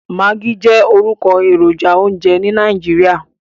Maggi jẹ́ orúkọ èròjà oúnjẹ ní Nàìjíríà.